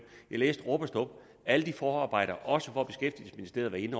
jeg læste rub og stub alle forarbejderne også hvor beskæftigelsesministeriet